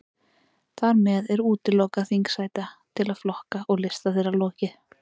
Þar með er úthlutun þingsæta til flokka og lista þeirra lokið.